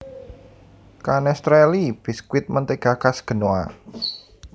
Canestrelli biskuit mentega khas Genoa